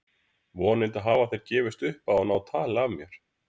Vonandi hafa þeir gefist upp á að ná tali af mér.